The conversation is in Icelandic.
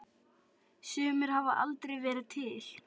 Sumir hafa aldrei verið til.